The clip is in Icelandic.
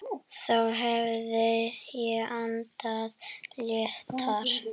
Þá hefði ég andað léttar.